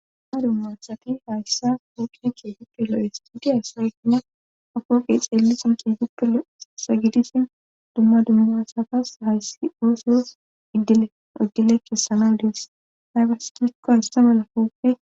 ha dumma asati hayssa huqine kieguppe lo7istudiyaspeegina akooqe xeelisin kieguppelo sagidishin dumma dummaasatas hayssi uosso iddile iddile kessana dies haybastikka aissa mala kooppe